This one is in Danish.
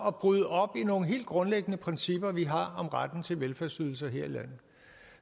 at bryde op i nogle helt grundlæggende principper vi har for retten til velfærdsydelser her i landet